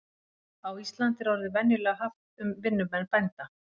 Á Íslandi er orðið venjulega haft um vinnumenn bænda.